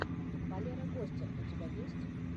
валера гостер у тебя есть